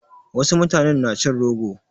Wasu mutanen na cin rogo.